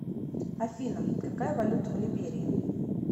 афина какая валюта в либерии